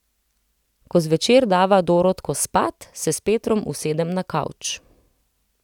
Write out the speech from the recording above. Ko zvečer dava Dorotko spat, se s Petrom usedem na kavč.